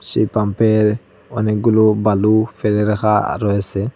সেই পাম্পের -এর অনেকগুলু বালু ফেলে রাখা রয়েসে।